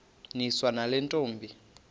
niswa nale ntombi